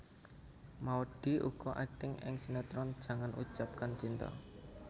Maudy uga akting ing sinetron Jangan Ucapkan Cinta